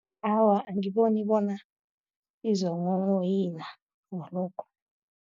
Awa, angiboni bona izokunghonghoyila ngalokho.